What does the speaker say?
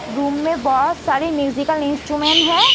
Room में बहुत सारी म्यूजिकल इंस्ट्रूमेंट है।